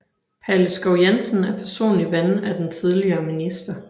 Palle Skov Jensen er personlig ven af den tidligere minister